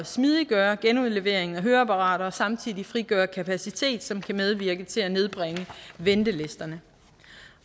smidiggøre genudleveringen af høreapparater og samtidig frigøre kapacitet som kan medvirke til at nedbringe ventelisterne